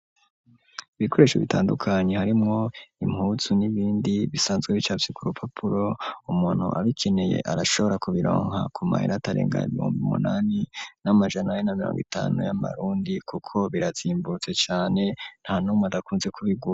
Ibikoresho bitandukanye harimwo impuzu n'ibindi bisanzwe bicafye ku rupapuro umuntu abikeneye arashobora kubironka ku mahera atarenga ibihumbi umunani n'amajana ane n'amirongo itanu y'amarundi kuko birazimbutse cane nta numwe adakunze kubigura.